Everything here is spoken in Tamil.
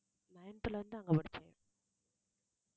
ninth ல இருந்து அங்க படிச்சேன்